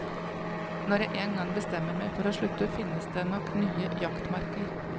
Når jeg en gang bestemmer meg for å slutte, finnes det nok nye jaktmarker.